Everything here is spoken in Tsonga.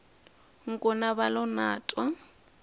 nkuna va lo na twa